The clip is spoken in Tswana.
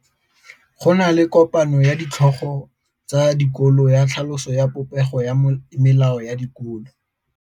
Go na le kopanô ya ditlhogo tsa dikolo ya tlhaloso ya popêgô ya melao ya dikolo.